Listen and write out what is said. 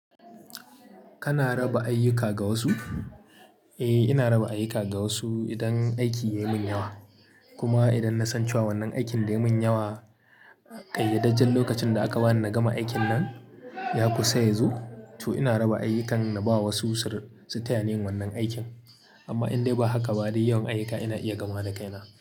Kana raba ayyuka ga wasu? Eh, ina raba ayyuka ga wasu idan aiki yai min yawa. Kuma idan na san cewa wannan aikin da yayi min yawa, ƙayyadajjen lokacin da aka bani na gama aikin nan ya kusa yazo, to ina raba ayyukan na ba wa wasu su tayani yin wannan aikin. Amma indan ba haka ba dai yawan ayyuka ina iya gamawa da kaina.